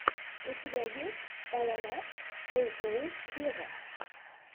у тебя есть эл эм эф эй оу вево